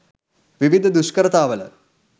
විවිධ දුෂ්කරතාවල